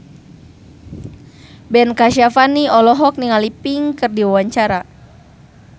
Ben Kasyafani olohok ningali Pink keur diwawancara